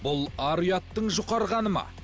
бұл ар ұяттың жұқарғаны ма